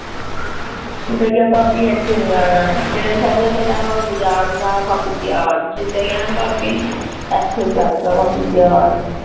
ਜੇ ਕਹੂੰਗੀ ਨਾ ਬਾਕੀ ਇੱਥੇ ਨੀ ਆਣਾ